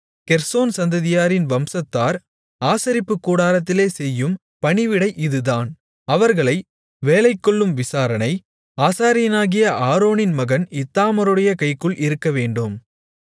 Gershon சந்ததியாரின் வம்சத்தார் ஆசரிப்புக் கூடாரத்திலே செய்யும் பணிவிடை இதுதான் அவர்களை வேலைகொள்ளும் விசாரணை ஆசாரியனாகிய ஆரோனின் மகன் இத்தாமாருடைய கைக்குள் இருக்கவேண்டும்